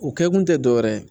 U kɛ kun tɛ dɔ wɛrɛ ye